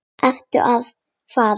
Ertu þá að fara?